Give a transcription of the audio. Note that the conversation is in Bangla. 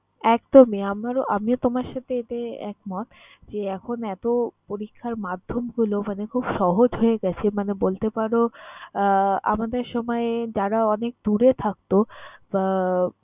একদমই, আমারও~ আমিও তোমার সাথে এতে একমত যে, এখন এত পরীক্ষার মাধ্যম হলো মানে খুব সহজ হয়ে গেছে। মানে বলতে পারো আহ আমাদের সময় যারা অনেক দূরে থাকতো বা